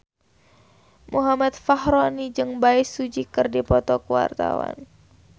Muhammad Fachroni jeung Bae Su Ji keur dipoto ku wartawan